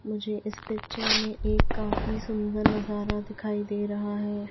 मुझे इस पिक्चर में एक काफी सुंदर नजारा दिखाई दे रहा है।